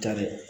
Ka dɛ